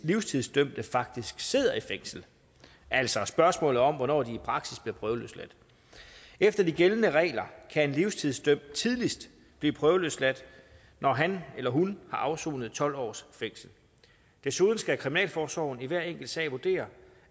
livstidsdømte faktisk sidder i fængsel altså spørgsmålet om hvornår de i praksis bliver prøveløsladt efter de gældende regler kan en livstidsdømt tidligst blive prøveløsladt når han eller hun har afsonet tolv års fængsel desuden skal kriminalforsorgen i hver enkelt sag vurdere